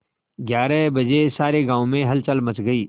ग्यारह बजे सारे गाँव में हलचल मच गई